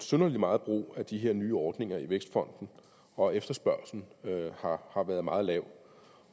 synderlig meget brug af de her nye ordninger i vækstfonden og efterspørgslen har har været meget lav